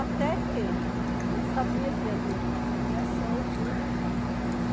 Até que a gente sabia que ia vir a desapropriação, tudo.